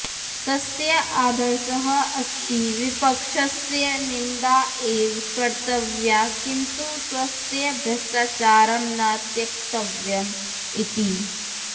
तस्य आदर्शः अस्ति विपक्षस्य निन्दा एव कर्तव्या किन्तु स्वस्य भ्रष्टाचारं न त्यक्तव्यम् इति